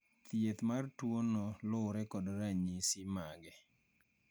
Thieth mar tuono lure kod ranyisi mage.